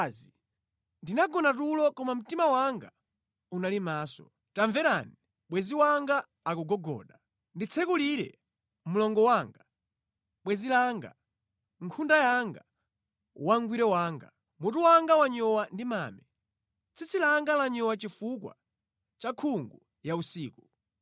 Ndinagona tulo koma mtima wanga unali maso. Tamverani, bwenzi langa akugogoda: “Nditsekulire, mlongo wanga, bwenzi langa, nkhunda yanga, wangwiro wanga. Mutu wanga wanyowa ndi mame, tsitsi langa lanyowa chifukwa cha nkhungu ya usiku.”